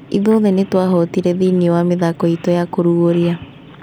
Ithuothe nĩtwahotirie thĩinĩ wa mĩthako itũ ya kũrugũria